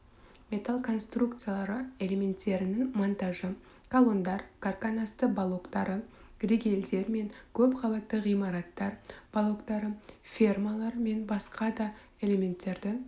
металл конструкциялары элементтерінің монтажы колондар карканасты балоктары ригелдер мен көп қабатты ғимараттар балоктары фермалар мен басқа да элементтерді